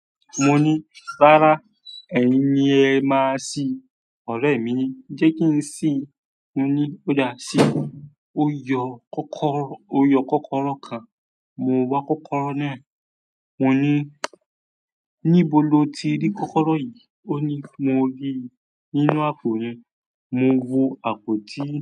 Mo ní, "Rárá, ẹ̀yin ni ẹ máa ṣìí." Ọ̀rẹ́ mi ní, "Jẹ́ kí n sí." Mo ní, "Ó dáa ṣí." Ó yọ kọ́kọ́rọ́, ó yọ kọ́kọ́rọ́ kan. Mo wá kọ́kọ́rọ́ náà. Mo ní, "Níbo lo ti rí kọ́kọ́rọ́ yìí?" oni mo ríi nínú àpò re. Mo wo àpò tí.